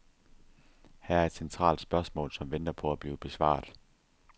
Her er et centralt spørgsmål, som venter på at blive besvaret.